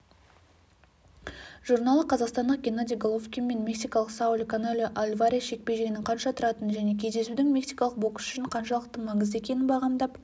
журналы қазақстандық геннадий головкин мен мексикалық сауль канело альварес жекпе-жегінің қанша тұратынын және кездесудің мексикалық боксшы үшін қаншалықты маңызды екенін бағамдап